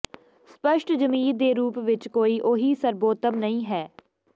ਸਪੱਸ਼ਟ ਜ਼ਮੀਰ ਦੇ ਰੂਪ ਵਿੱਚ ਕੋਈ ਓਹੀ ਸਰਬੋਤਮ ਨਹੀਂ ਹੈ